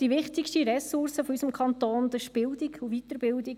Die wichtigste Ressource unseres Kantons ist die Bildung und die Weiterbildung.